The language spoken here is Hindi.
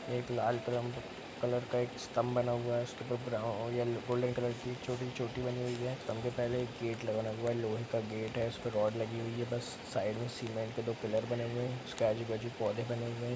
एक लाल कलम कलर का एक स्तंभ बना हुआ है उसके उप्पर ब्राओ येल्ल गोल्डन कलर की छोटी सी चोटी बनी हुई है स्तंभ के पहले एक गेट लगा हुआ है लोहे का गेट है उस पर रॉड लगी हुई है बस साइड में सीमेंट के दो पिलर बने हुए हैं उसके आजू-बाजू पौधे बने हुए हैं।